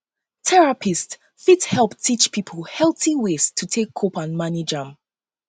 therapists fit help teach pipo um healthy um ways to take cope and manage um am